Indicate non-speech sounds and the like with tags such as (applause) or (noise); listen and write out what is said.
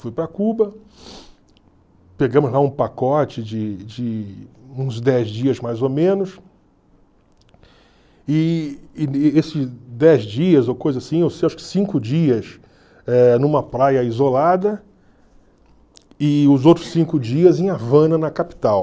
Fui para Cuba, pegamos lá um pacote de de uns dez dias, mais ou menos, e (unintelligible) dez dias, ou coisa assim, (unintelligible) acho que cinco dias eh numa praia isolada e os outros cinco dias em Havana, na capital.